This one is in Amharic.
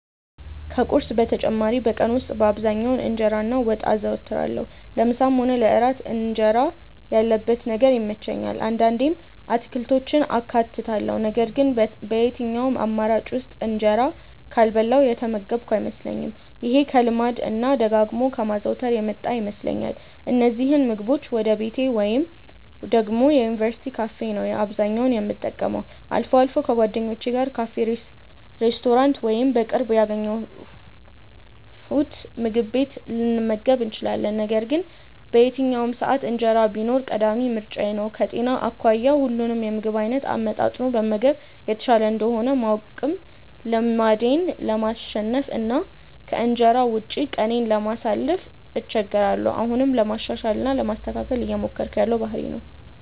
ከቁርስ በተጨማሪ በቀን ውስጥ በአብዛኛው እንጀራ እና ወጥ አዘወትራለሁ። ለምሳም ሆነ ለእራት እንጀራ ያለበት ነገር ይመቸኛል። አንዳንዴም አትክልቶችን አካትታለሁ ነገር ግን በየትኛውም አማራጭ ውስጥ እንጀራ ካልበላሁ የተመገብኩ አይመስለኝም። ይሄ ከልማድ እና ደጋግሞ ከማዘውተር የመጣ ይመስለኛል። እነዚህን ምግቦች ወይ ቤቴ ወይ ደግሞ የዩኒቨርስቲ ካፌ ነው አብዛኛውን የምጠቀመው። አልፎ አልፎ ከጓደኞቼ ጋር ካፌ፣ ሬስቶራንት ወይም በቅርብ ያገኘነውምግብ ቤት ልንመገብ እንችላለን። ነገር ግን በየትኛውም ሰዓት እንጀራ ቢኖር ቀዳሚ ምርጫዬ ነው። ከጤና አኳያ ሁሉንም የምግብ አይነት አመጣጥኖ መመገብ የተሻለ እንደሆነ ባውቅም ልማዴን ለማሸነፍ እና ከእንጀራ ውጪ ቀኔን ለማሳለፍ እቸገራለሁ። አሁንም ለማሻሻል እና ለማስተካከል እየሞከርኩት ያለው ባህሪዬ ነው።